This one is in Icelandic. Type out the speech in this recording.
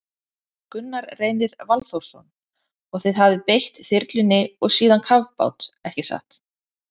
Gunnar Reynir Valþórsson: Og þið hafið beitt þyrlunni og síðan kafbát, ekki satt?